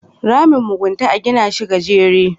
Ramin mugunta a gina shi gajere